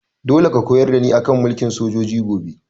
Dole ka koyar da ni a kan mulkin sojoji gobe!